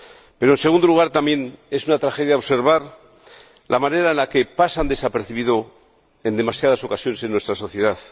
Pero, en segundo lugar, también es una tragedia observar la manera en la que pasan desapercibidos, en demasiadas ocasiones, en nuestra sociedad.